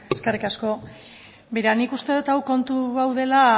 eskerrik asko nik uste dut kontu hau dela